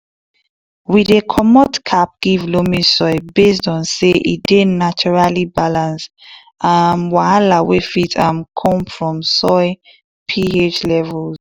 we dey comot cap give loamy soil based on say e dey naturaly balance um wahala wey fit um come from soil ph levels